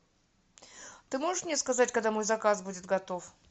ты можешь мне сказать когда мой заказ будет готов